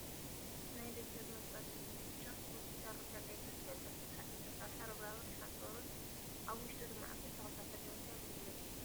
ናይ ደጃዝማት ባልቻ ሆስፒታል ሩስያ ቀይሕ መስቀል ፅሑፍን ብሓፂን ዝተሰረሐ ርብራብን ሓፆርን ኣብ ውሽጡ ድማ ዓበይቲ ተክልታት ኣለው። እንታይ ኣገልግሎት ይህብ?